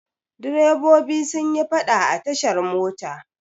Direbobi sun yi faɗa a tashar mota.